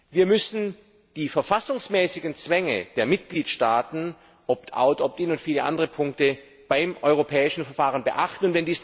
Wir müssen die verfassungsmäßigen Zwänge der Mitgliedstaaten Opt out, Opt in und viele andere Punkte beim europäischen Verfahren beachten.